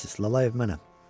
Düz gəlmisiz, Lalayev mənəm.